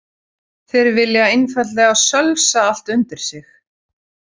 Þeir vilja einfaldlega sölsa allt undir sig.